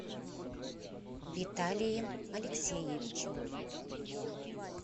виталием алексеевичем